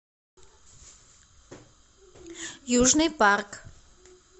южный парк